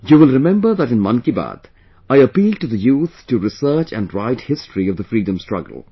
You will remember that in 'Mann Ki Baat', I appealed to the youth to research and write history of the freedom struggle